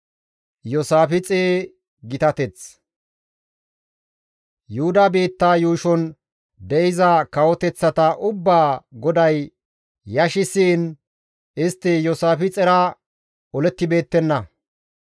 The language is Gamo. Yuhuda biittaa yuushon de7iza kawoteththata ubbaa GODAY yashissiin istti Iyoosaafixera olettibeettenna.